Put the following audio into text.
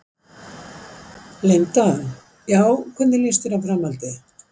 Linda: Já, hvernig lýst þér á framhaldið?